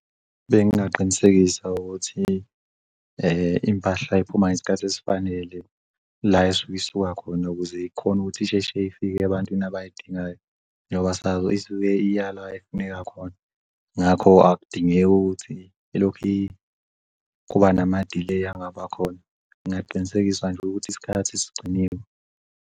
Bengingaqinisekisa ukuthi impahla iphuma ngesikhathi esifanele la esuke isuka khona ukuze ikhone ukuthi isheshe ifike ebantwini abayidingayo noba sazi isuke iyala efuneka khona. Ngakho akudingeki ukuthi ilokhu kuba nama-delay engabakhona. Ngingaqinisekisa nje ukuthi isikhathi sigciniwe.